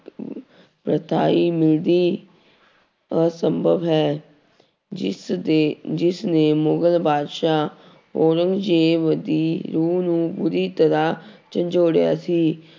ਮਿਲਦੀ ਅਸੰਭਵ ਹੈ ਜਿਸ ਦੇ ਜਿਸ ਨੇ ਮੁਗ਼ਲ ਬਾਦਸ਼ਾਹ ਔਰੰਗਜ਼ੇਬ ਦੀ ਰੂਹ ਨੂੰ ਪੂਰੀ ਤਰ੍ਹਾਂ ਝੰਜੋੜਿਆ ਸੀ